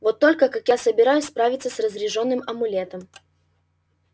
вот только как я собираюсь справиться с разряжённым амулетом